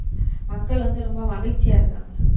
மக்கள் வந்து ரொம்ப மகிழ்ச்சியா இருக்காங்க.